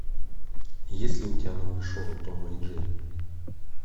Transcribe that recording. есть ли у тебя новое шоу тома и джерри